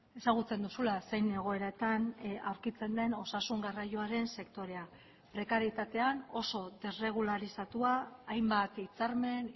ezagutzen duzula zein egoeratan aurkitzen den osasun garraioaren sektorea prekarietatean oso desrregularizatua hainbat hitzarmen